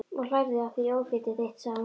Og hlærðu að því ófétið þitt? sagði hún sár.